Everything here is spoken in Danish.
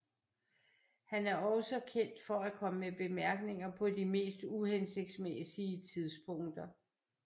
Han er også kendt for at komme med bemærkninger på de mest uhensigtsmæssige tidspunkter